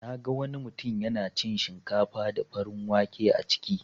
Naga wani mutun yana cin shinkafa da farin wake a ciki.